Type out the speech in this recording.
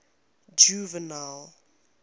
juvenal